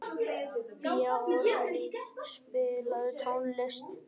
Bjarný, spilaðu tónlist.